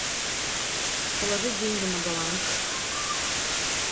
положить деньги на баланс